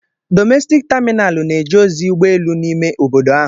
Domestic Terminali na-eje ozi ụgbọ elu n'ime obodo ahụ.